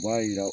U b'a yira